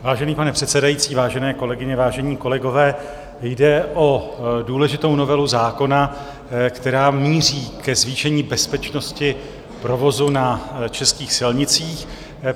Vážený pane předsedající, vážené kolegyně, vážení kolegové, jde o důležitou novelu zákona, která míří ke zvýšení bezpečnosti provozu na českých silnicích.